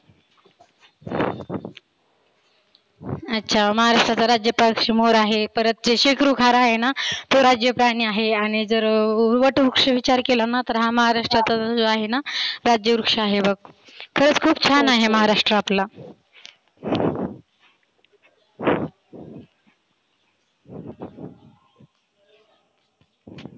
अच्छा महाराष्ट्राचा राज्य पक्षी मोर आहे, परत ते शिक्रुखार आहेना तो राज्य प्राणि आहे. आणि जर वटवृक्ष विचार केलाना तर हा महाराष्ट्राचा जो आहेना राज्य वृक्ष आहे बघ. खरच खुप छान आहे राज्य आपला.